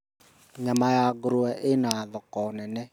Nyama ya ngũrwe ĩna thoko nene